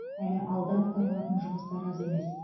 әлі алда атқарылатын жұмыстар аз емес